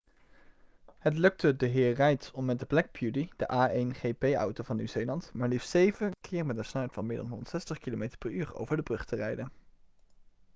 het lukte dhr. reid om met black beauty de a1gp-auto van nieuw-zeeland maar liefst 7 keer met een snelheid van meer dan 160 km/u over de brug te rijden